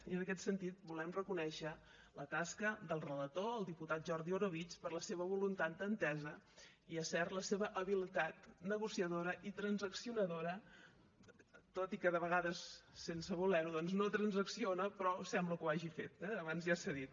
i en aquest sentit volem reconèixer la tasca del relator el diputat jordi orobitg per la seva voluntat d’entesa i és cert la seva habilitat negociadora i transaccionadora tot i que de vegades sense voler ho doncs no transacciona però sembla que ho hagi fet eh abans ja s’ha dit